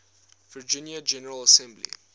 virginia general assembly